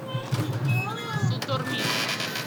сутормин